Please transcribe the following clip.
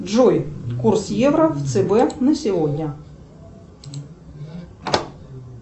джой курс евро в цб на сегодня